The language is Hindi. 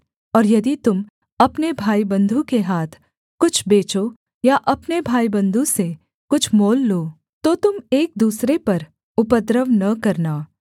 और यदि तुम अपने भाईबन्धु के हाथ कुछ बेचो या अपने भाईबन्धु से कुछ मोल लो तो तुम एक दूसरे पर उपद्रव न करना